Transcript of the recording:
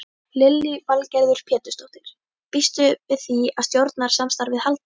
Lillý Valgerður Pétursdóttir: Býstu við því að stjórnarsamstarfið haldi?